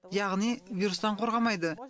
яғни вирустан қорғамайды